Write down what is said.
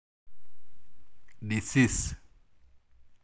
Disease.